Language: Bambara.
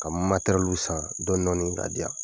Ka matɛrɛlu san dɔdɔni ka diyan